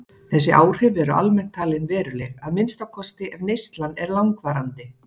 Þessi áhrif eru almennt talin veruleg, að minnsta kosti ef neyslan er langvarandi.